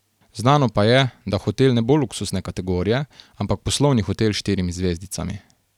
Znano pa je, da hotel ne bo luksuzne kategorije, ampak poslovni hotel s štirimi zvezdicami.